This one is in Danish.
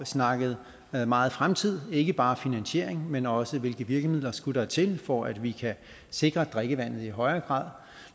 snakket meget fremtid ikke bare finansiering men også hvilke virkemidler der skulle til for at vi kan sikre drikkevandet i højere grad